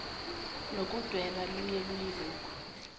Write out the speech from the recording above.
nokudweba luye luyilokhu